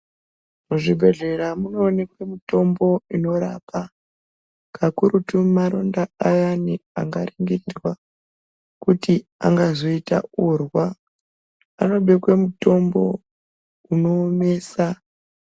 Muzvibhedhlera munoonekwe mitombo inorapa kakurutu maronda ayani angangoita urwa anoda mitombo inoomesa .